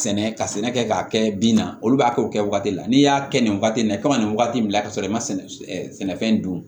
Sɛnɛ ka sɛnɛ kɛ k'a kɛ bin na olu b'a kɛ o kɛ wagati de la n'i y'a kɛ nin wagati in na i ka nin wagati min bila ka sɔrɔ i ma sɛnɛfɛn dun